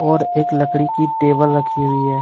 और एक लकड़ी की टेबल रखी हुई है।